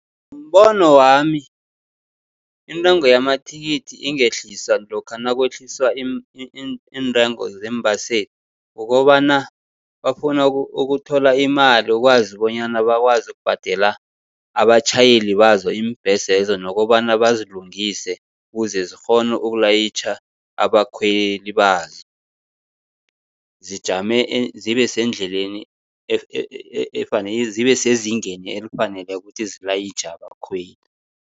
Ngombono wami, intengo yamathikithi ingehliswa lokha nakwehliswa iintengo zeembaseli, kukobana bafuna ukuthola imali ukwazi bonyana bakwazi ukubhadela abatjhayeli bazo iimbhesezo. Nokobana bazilungise kuze zikghone ukulayitjha abakhweli bazo. Zijame zibe sendleleni zibe sezingeni elifaneleko ukuthi zilayitjhe abakhweli.